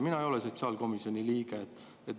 Mina ei ole sotsiaalkomisjoni liige.